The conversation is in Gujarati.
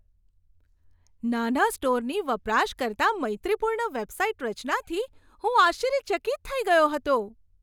નાના સ્ટોરની વપરાશકર્તા મૈત્રીપૂર્ણ વેબસાઈટ રચનાથી હું આશ્ચર્યચકિત થઈ ગયો હતો.